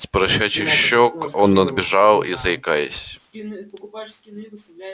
с поросячьих щёк дадли сполз румянец он отбежал назад и заикаясь